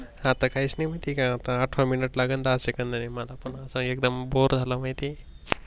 आता काहीच माहित नाही आठवा मिनिट लागल दहा सेकंदानी, मला पण एकदम बोर झाल माहिती आहे